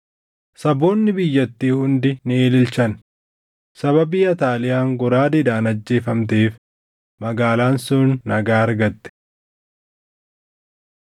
Saboonni biyyattii hundi ni ililchan; sababii Ataaliyaan goraadeedhaan ajjeefamteef magaalaan sun nagaa argatte.